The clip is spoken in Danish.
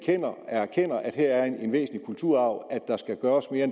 erkender at her er en væsentlig kulturarv